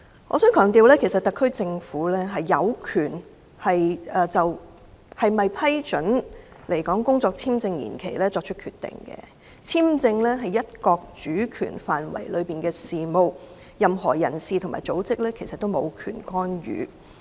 我想強調特區政府有權就是否批准來港工作簽證延期作出決定，簽證是"一國"主權範圍內的事務，任何人士和組織均無權干預。